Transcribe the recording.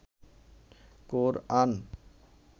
কোরআন